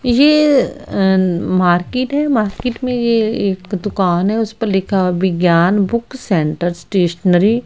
ये अ मार्केट है मार्केट में ये एक दुकान है उसपर लिखा है विज्ञान बुक सेंटर स्टेशनरी ।